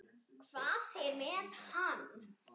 Hvað er með hann?